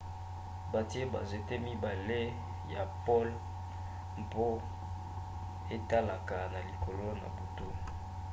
batie banzete mibale ya pole mpo etalaka na likolo na butu